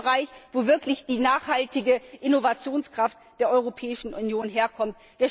Das ist der Bereich, aus dem wirklich die nachhaltige Innovationskraft der Europäischen Union herkommt.